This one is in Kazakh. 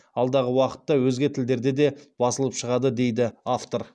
алдағы уақытта өзге тілдерде де басылып шығады дейді автор